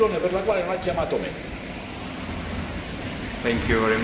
Ha telefonato a tutti, vorrei capire qual è la ragione per la quale non ha chiamato me.